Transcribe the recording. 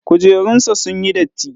Kujerunsa ​​sunyi datti.